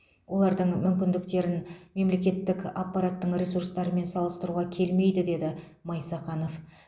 олардың мүмкіндіктерін мемлекеттік аппараттың ресурстарымен салыстыруға келмейді деді майсақанов